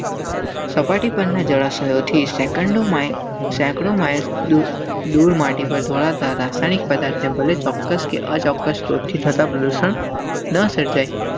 સપાટી પરના જળાશયો થી સેકંડ. ધૂળ માટી પર ઢોળાતા રાસાયણિક પદાર્થથી ભલે ચોક્કસ કે અચોક્કસ સ્રોતથી થતા પ્રદૂષણ ન સર્જાય.